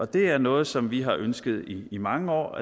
det er noget som vi har ønsket i i mange år